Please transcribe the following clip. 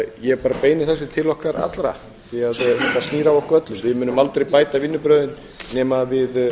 ég bara beini þessu til okkar allra því að þetta snýr að okkur öllum við munum aldrei bæta vinnubrögðin nema við